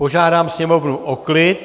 Požádám sněmovnu o klid.